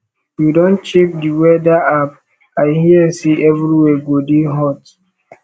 you don check the weather app i hear sey everywhere go dey hot